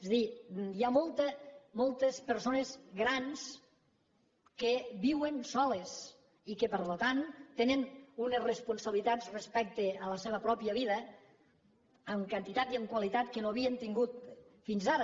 és a dir hi ha moltes persones grans que viuen soles i que per tant tenen unes responsabilitats respecte a la seva pròpia vida en quantitat i en qualitat que no havien tingut fins ara